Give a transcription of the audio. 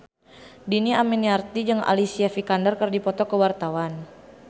Dhini Aminarti jeung Alicia Vikander keur dipoto ku wartawan